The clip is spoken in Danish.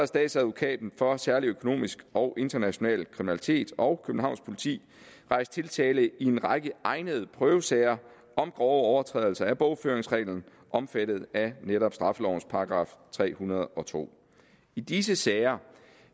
statsadvokaten for særlig økonomisk og international kriminalitet og københavns politi rejst tiltale i en række egnede prøvesager om grove overtrædelser af bogføringsreglerne omfattet af netop straffelovens § tre hundrede og to i disse sager